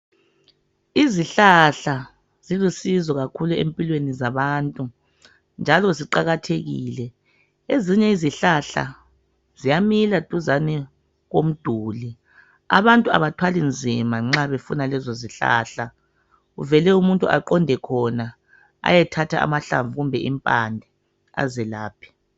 Izihlahla zilosizo kakhulu empilweni zabantu, njalo ziqakathekilo. Ezinye izihlahla ziyamila duzene kwomduli, abantu abathwali nzima nxa befuna lezo zihlahla. Vele umuntu aqonde khona ayethatha amahlamvu kumbe impande azelaphe.